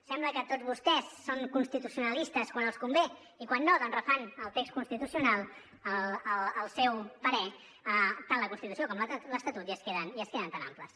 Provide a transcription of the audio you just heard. sembla que tots vostès són constitucionalistes quan els convé i quan no doncs refan el text constitucional al seu parer tant la constitució com l’estatut i es queden tan amples